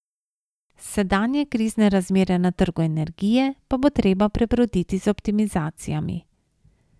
Sedanje krizne razmere na trgu energije pa bo treba prebroditi z optimizacijami.